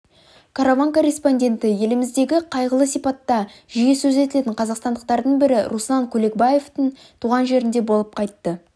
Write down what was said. караван корреспонденті еліміздегі қайғылы сипатта жиі сөз етілетін қазақстандықтардың бірі руслан күлекбаевтың туған жерінде болып қайтты